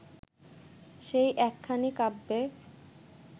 সেই একখানি কাব্যে